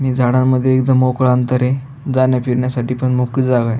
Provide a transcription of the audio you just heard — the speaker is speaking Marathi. आणि झाड मध्ये इथं मोकळ अंतर ये जाण्या फिरण्यासाठी पण मोकळी जागा आहे.